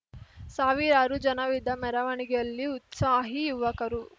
ಸಾವಿರಾರು ಜನರಿದ್ದ ಮೆರವಣಿಗೆಯಲ್ಲಿ ಉತ್ಸಾಹಿ ಯುವಕರು